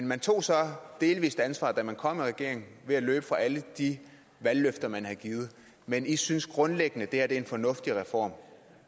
man tog så delvis et ansvar da man kom i regering ved at løbe fra alle de valgløfter man havde givet men i synes grundlæggende at det her er en fornuftig reform